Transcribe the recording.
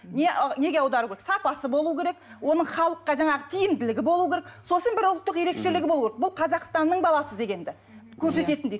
не ы неге аудару керек сапасы бол керек оның халыққа жаңағы тиімділігі болу керек сосын бір ұлттық ерекшелігі болу керек бұл қазақстанның баласы дегенді көрсететіндей